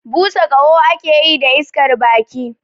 Busa ƙaho ake yi da iskar baki